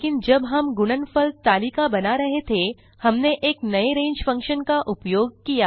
लेकिन जब हम गुणनफल तालिका बना रहे थे हमने एक नए रंगे फंक्शन का उपयोग किया